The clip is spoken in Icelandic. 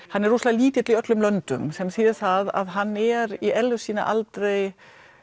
hann er rosalega lítill í öllum löndum sem þýðir það að hann er í eðli sínu aldrei